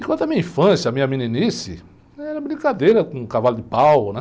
Enquanto a minha infância, a minha meninice, era brincadeira com cavalo de pau, né?